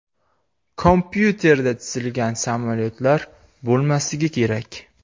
Kompyuterda chizilgan samolyotlar bo‘lmasligi kerak.